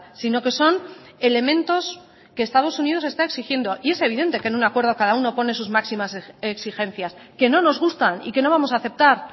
sino que son elementos que estados unidos está exigiendo y es evidente que en un acuerdo cada uno pone sus máximas exigencias que no nos gustan y que no vamos a aceptar